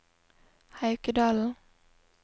Haukedalen